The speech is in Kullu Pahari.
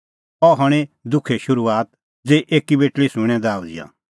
अह हणीं दुखे शुरूआत ज़ेही एकी बेटल़ी सूंणें दाह उझ़िआ